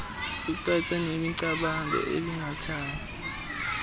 kucace nemicamango ebingathanga